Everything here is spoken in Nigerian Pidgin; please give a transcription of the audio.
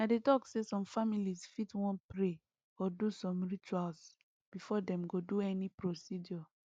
i dey talk say some families fit wan pray or do some rituals before dem go do any procedure